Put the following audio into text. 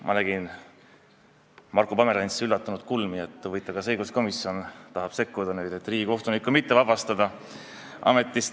Ma nägin Marko Pomerantsi üllatunud kulmukergitust, et kas õiguskomisjon tahab sekkuda ja riigikohtunikku mitte ametist vabastada.